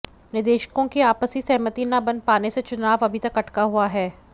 निदेशकों की आपसी सहमति न बन पाने से चुनाव अभी तक अटका हुआ है